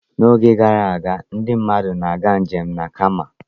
N'oge gara aga, ndị mmadụ na-aga njem na Kamel.